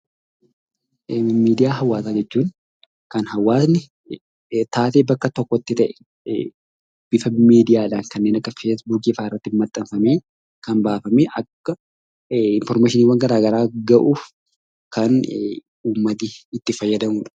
Miidiyaa hawaasaa jechuun kan hawaasni taatee bakka tokkotti ta'e bifa miidiyaadhaan kanneen akka feesbuukiifaarraatti maxxanfamee kan baafamee akka infoormeeshiniiwwan gara garaa gahuuf kan uummati itti fayyadamudha.